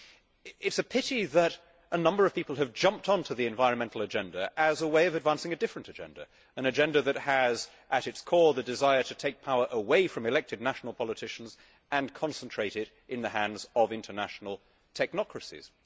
It is a pity that a number of people have jumped onto the environmental agenda as a way of advancing a different agenda, an agenda that has at its core the desire to take power away from elected national politicians and concentrate it in the hands of international technocracies.